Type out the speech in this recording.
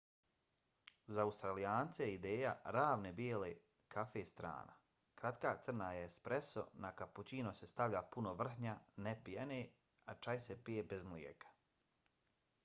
za australijance je ideja ravne bijele kafe strana. kratka crna je espreso na kapućino se stavlja puno vrhnja ne pjene a čaj se pije bez mlijeka